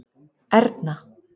Erna